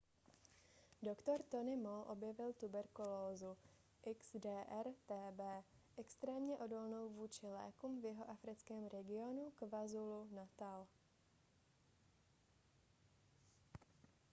dr. tony moll objevil tuberkulózu xdr-tb extrémně odolnou vůči lékům v jihoafrickém regionu kwazulu-natal